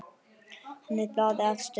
Hann er blaði efstur á.